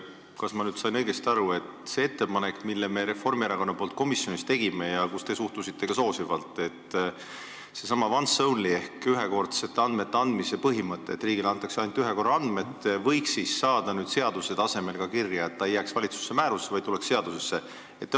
Kas ma sain õigesti aru, et see ettepanek, mille me Reformierakonna nimel komisjonis tegime ja millesse te suhtusite soosivalt, seesama once-only ehk andmete ühekordse andmise põhimõte, et riigile antakse andmeid ainult üks kord, võiks saada seaduse tasemel kirja, et ta ei jääks valitsuse määrusse, vaid tuleks seadusesse?